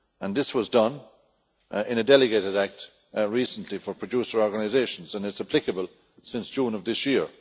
This was done in a Delegated Act recently for producer organisations, and it is applicable since June of this year.